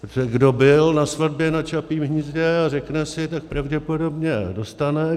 Protože kdo byl na svatbě na Čapím hnízdě a řekne si, tak pravděpodobně dostane.